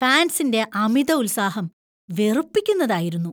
ഫാന്‍സിന്‍റെ അമിത ഉത്സാഹം വെറുപ്പിക്കുന്നതായിരുന്നു.